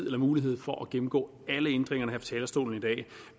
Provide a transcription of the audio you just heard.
eller mulighed for at gennemgå alle ændringerne her fra talerstolen i dag